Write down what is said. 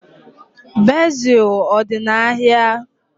Bezil ọ dị n'ahịa?